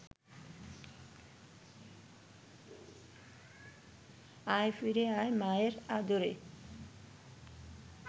আয় ফিরে আয় মায়ের আদরে